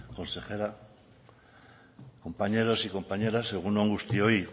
consejera compañeros y compañeras egun on guztioi